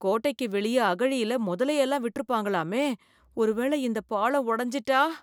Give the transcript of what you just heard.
கோட்டைக்கு வெளிய அகழியில மொதலையெல்லாம் விட்டுருப்பாங்கலாமே. ஒருவேள இந்த பாளம் ஒடஞ்சிட்டா ?